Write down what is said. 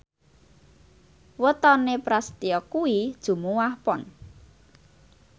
wetone Prasetyo kuwi Jumuwah Pon